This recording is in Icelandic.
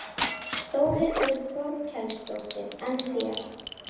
Þórhildur Þorkelsdóttir: En þér?